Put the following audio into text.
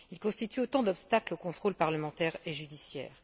Ils constituent autant d'obstacles au contrôle parlementaire et judiciaire.